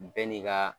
Bɛɛ n'i ka